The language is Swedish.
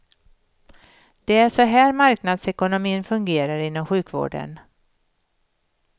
Det är så här marknadsekonomi fungerar inom sjukvården.